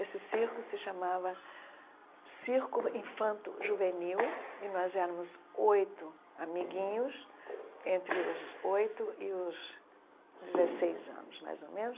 Esse circo se chamava Circo Infanto Juvenil, e nós éramos oito amiguinhos, entre os oito e os dezesseis anos, mais ou menos,